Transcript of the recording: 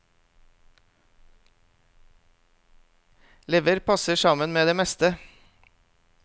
Lever passer sammen med det meste.